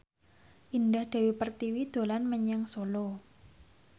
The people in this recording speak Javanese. Indah Dewi Pertiwi dolan menyang Solo